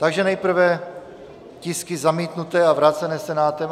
Takže nejprve tisky zamítnuté a vrácené Senátem.